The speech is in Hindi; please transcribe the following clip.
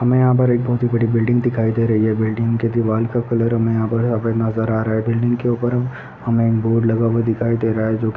यहाँ पर एक बोहोत ही बड़ी बिल्डिंग दिखाई दे रही है बिल्डिंग के दीवाल का कलर हमे यहाँ पर सफेद नजर आ रहा है बिल्डिंग के ऊपर हम हमे एक बोर्ड लगा हुआ दिखाई दे रहा है जो कि --